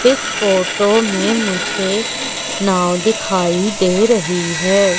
इस फोटो में मुझे नाव दिखाई दे रही है।